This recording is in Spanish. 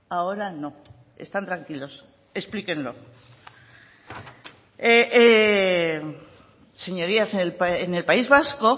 ahora no están tranquilos explíquenlo señorías en el país vasco